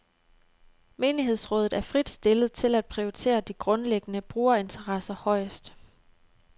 Menighedsrådet er frit stillet til at prioritere de grundlæggende brugerinteresser højest.